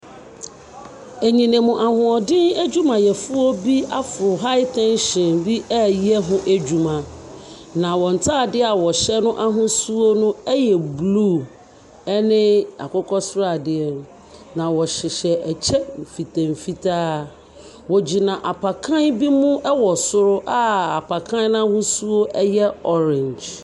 Enyinam ahoɔden adwumayɛfoɔ bi afo high tension ɛeryɛ ho adwuma, na wɔn ntaadeɛ a wɔhyɛ no ahosuo a ɛyɛ blue ɛne akokɔsradeɛ na wɔhyehyɛ nkyɛ mfitaa mfitaa. Wɔguina apakan bi mu ɛwɔ soro a apakan no ahosuo ɛyɛ orange.